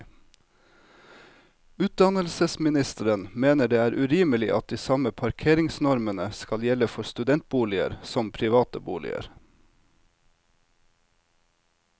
Utdannelsesministeren mener det er urimelig at de samme parkeringsnormene skal gjelde for studentboliger som private boliger.